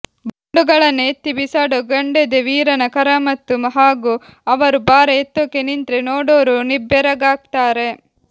ಗುಂಡುಗಳನ್ನ ಎತ್ತಿ ಬಿಸಾಡೋ ಗಂಡೆದೆ ವೀರನ ಕರಾಮತ್ತು ಹಾಗೂ ಅವರು ಭಾರ ಎತ್ತೋಕೆ ನಿಂತ್ರೆ ನೋಡೋರು ನಿಬ್ಬೆರಗಾಗ್ತಾರೆ